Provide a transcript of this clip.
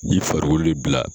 Ni farikolo bila